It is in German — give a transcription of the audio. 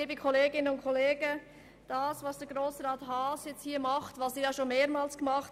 Was Grossrat Haas nun hier macht, hat er schon mehrmals gemacht.